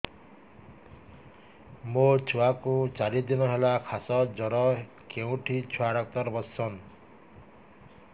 ମୋ ଛୁଆ କୁ ଚାରି ଦିନ ହେଲା ଖାସ ଜର କେଉଁଠି ଛୁଆ ଡାକ୍ତର ଵସ୍ଛନ୍